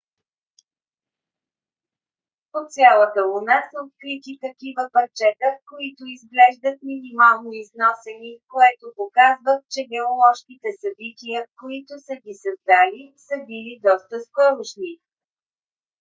по цялата луна са открити такива парчета които изглеждат минимално износени което показва че геоложките събития които са ги създали са били доста скорошни